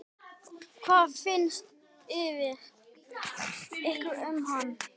Hvað fannst ykkur um hann?